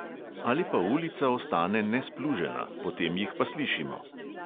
Ali pa ulica ostane nesplužena, potem jih pa slišimo.